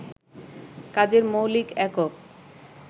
কাজের মৌলিক একক